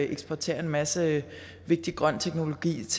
eksportere en masse vigtig grøn teknologi